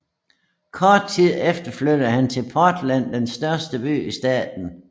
Kort tid efter flyttede han til Portland den største by i staten